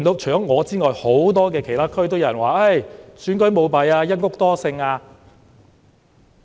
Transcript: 除了我外，很多其他選區都有人被指選舉舞弊，"一屋多姓"。